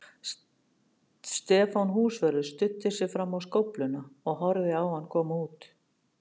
Stefán húsvörður studdi sig fram á skófluna og horfði á hann koma út.